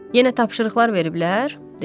Yenə tapşırıqlar veriblər, dedim.